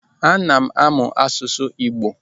Ana m amụ asụsụ Igbo.